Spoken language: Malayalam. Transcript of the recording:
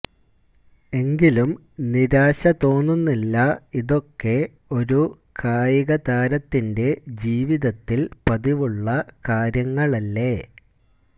എങ്കിലും നിരാശ തോന്നുന്നില്ല ഇതൊക്കെ ഒരു കായികതാരത്തിന്റെ ജീവിതത്തില് പതിവുള്ള കാര്യങ്ങളല്ലേ